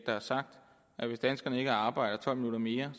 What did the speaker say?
der har sagt at hvis danskerne ikke arbejder tolv minutter mere